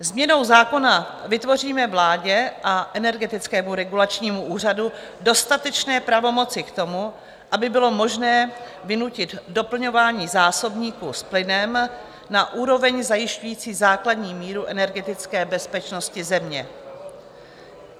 Změnou zákona vytvoříme vládě a Energetickému regulačnímu úřadu dostatečné pravomoci k tomu, aby bylo možné vynutit doplňování zásobníků s plynem na úroveň zajišťující základní míru energetické bezpečnosti země.